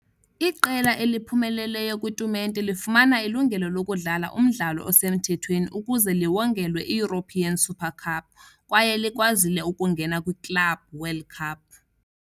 Iqela eliphumeleleyo kwitumente lifumana ilungelo lokudlala umdlalo osemthethweni ukuze liwongelwe iEuropean Super Cup kwaye likwazile ukungena kwiClub World Cup.